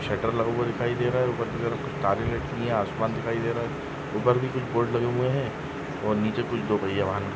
shutter लगा हुआ दिखाई दे रहा है ऊपर की तरफ तारे लटकी हुई है आसमान दिखाई दे रहा है ऊपर भी कुछ बोर्ड लगे हुए है और नीचे कुछ दो कुछ पहिये वाहन--